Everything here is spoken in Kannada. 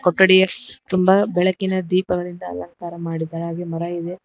ಪಗಡಿಯಸ್ ತುಂಬ ಬೆಳಕಿನ ದೀಪಗಳಿಂದ ಅಲಂಕಾರ ಮಾಡಿದ್ದಾರೆ ಹಾಗೆ ಮರ ಇದೆ.